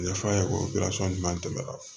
Ɲɛfɔ a ye o jumɛn tɛmɛna